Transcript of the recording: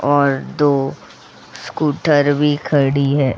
और दो स्कूटर भी खड़ी है।